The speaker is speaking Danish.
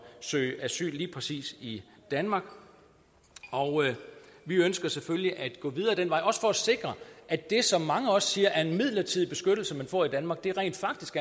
søge asyl lige præcis i danmark og vi ønsker selvfølgelig at gå videre ad den vej også for at sikre at det som mange siger er en midlertidig beskyttelse man får i danmark rent faktisk